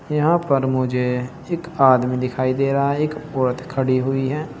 यहां पर मुझे एक आदमी दिखाई दे रहा है एक औरत खड़ी हुई है।